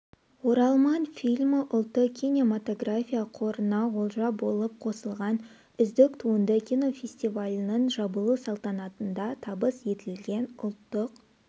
оралман фильмі ұлттық кинематография қорына олжа болып қосылған үздік туынды кинофестивалінің жабылу салтанатында табыс етілген ұлттық